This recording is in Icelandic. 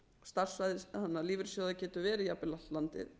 starfsvæði lífeyrissjóða getur verið jafnvel allt landið